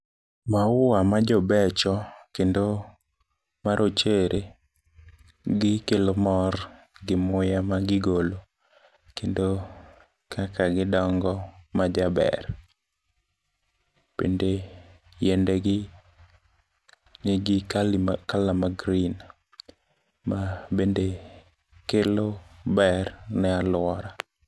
Maua majobecho, kendo marochere gikelo mor gi muya magigolo, kendo kaka gidongo majaber, bende yiendegi nigi kala ma green mabende kelo ber ne aluora.